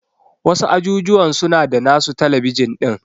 Wasu ajujuwan suna da nasu talabijin din.